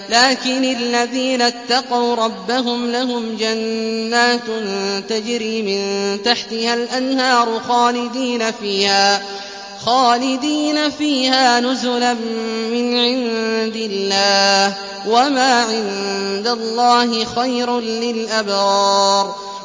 لَٰكِنِ الَّذِينَ اتَّقَوْا رَبَّهُمْ لَهُمْ جَنَّاتٌ تَجْرِي مِن تَحْتِهَا الْأَنْهَارُ خَالِدِينَ فِيهَا نُزُلًا مِّنْ عِندِ اللَّهِ ۗ وَمَا عِندَ اللَّهِ خَيْرٌ لِّلْأَبْرَارِ